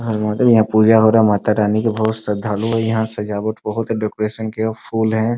यहाँ पर बहुत है यहाँ पूजा वगैरा माता रानी के बहुत श्रद्धालु है । यहां सजावट बहुत डेकोरेशन के फूल है ।